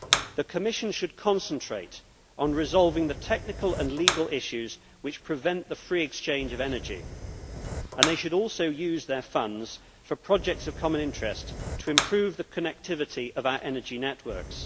The Commission should concentrate on resolving the technical and legal issues which prevent the free exchange of energy, and they should also use their funds for projects of common interest to improve the connectivity of our energy networks.